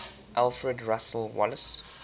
alfred russel wallace